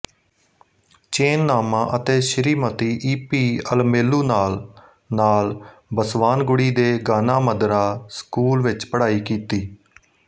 ਚੇਨਨਾਮਾ ਅਤੇ Shrimati E P ਅਲਮੇਲੂਨਾਲ ਨਾਲ ਬਸਵਾਨਗੁੜੀ ਦੇ ਗਾਨਾ ਮੰਦਿਰਾ ਸਕੂਲ ਵਿੱਚ ਪੜ੍ਹਾਈ ਕੀਤੀ